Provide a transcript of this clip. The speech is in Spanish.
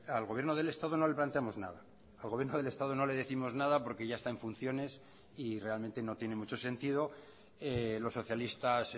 al gobierno del estado no le planteamos nada al gobierno del estado no le décimos nada porque ya está en funciones y realmente no tiene mucho sentido los socialistas